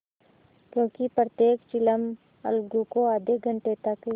क्योंकि प्रत्येक चिलम अलगू को आध घंटे तक